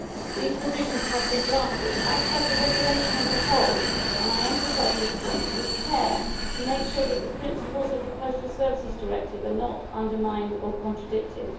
These provisions have been drafted, as has the regulation as a whole and I emphasise this point with care to make sure that the principles of the Postal Services Directive are not undermined or contradicted.